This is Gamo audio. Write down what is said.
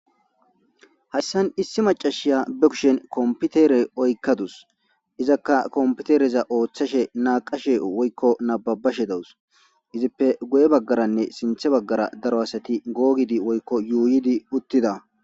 Hayssan issi macashiya bekushen kompitere oykkadus izakka kompitereza ooththashe naaqashe woykko nababashe dawus izippe guye baggaranne sinthe baggara daro asati googidi woykko yuuyidi uttida.